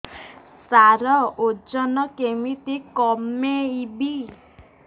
ସାର ଓଜନ କେମିତି କମେଇବି